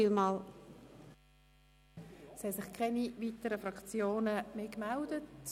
Keine weiteren Fraktionen haben sich gemeldet.